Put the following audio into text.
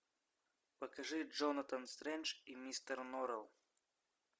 покажи джонатан стрендж и мистер норрелл